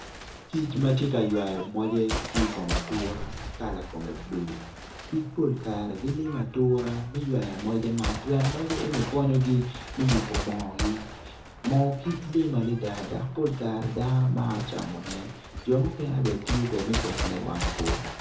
Kic ma tye ka ywayo moje ki i kom atura ma kala kome bulu kic pol kare gilima atura me ywayo moje man pien moje eno ni konyogi me yubu moogi moo kic lim adida dak pol kare dano maro camone jo mukene bene tiyo kede me ketone iwang bur